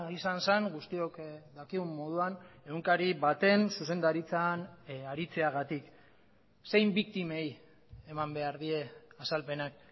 izan zen guztiok dakigun moduan egunkari baten zuzendaritzan aritzeagatik zein biktimei eman behar die azalpenak